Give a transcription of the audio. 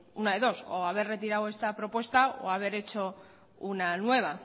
una de dos o haber retirado esta propuesta o haber hecho una nueva